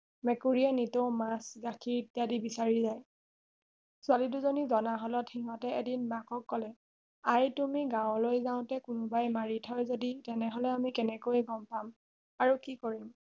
মেকুৰীয়ে নিতেও মাছ গাখীৰ ইত্যাদি বিচাৰি যায় ছোৱালী দুজনি জনা হলত সিহতে এদিন মাকক কলে আই তুমি গাঁৱলৈ যাওতে যদি কোনোবাই মাৰি থয় যদি তেনেহলে আমি কেনেকৈ গম পাম আৰু কি কৰিম